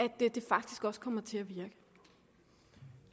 det faktisk også kommer til